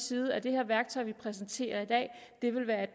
side at det her værktøj vi præsenterer i dag vil være